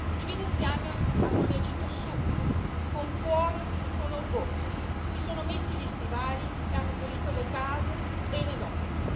I veneziani hanno reagito subito, con cuore e con orgoglio, si sono messi gli stivali e hanno pulito le case e i negozi.